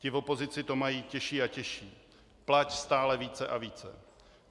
Ti v opozici to mají těžší a těžší: plať stále více a více!